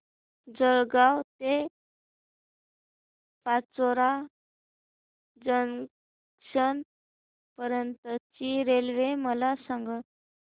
जळगाव ते पाचोरा जंक्शन पर्यंतची रेल्वे मला सांग